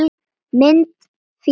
Mynd: Fílar